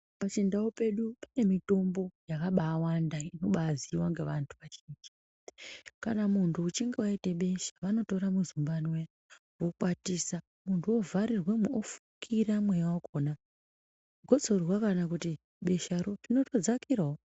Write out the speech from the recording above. Pachindau pedu pane mitombo yakabaawanda inobaaziiwa ngavantu vazhinji. Kana muntu achinge aite besha vanotora muzumbane uya voukwatisa, muntu wovharirwamo ofukira mweya wakhona gotsorwa kana kuti besharo rotodzakirawo.